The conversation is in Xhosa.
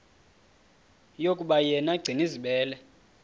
yokuba yena gcinizibele